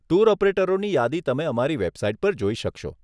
Tour ઓપરેટરની યાદી તમે અમારી વેબસાઈટ પર જોઇ શકશો.